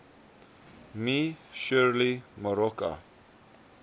me shirley moroka